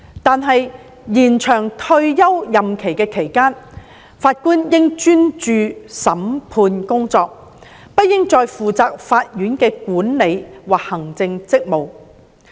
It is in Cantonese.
但是，在延展退休任期的期間，法官應專注審判工作，不應再負責法院的管理及行政職務。